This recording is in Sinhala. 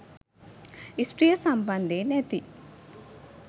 ස්ත්‍රිය සම්බන්ධයෙන් ඇති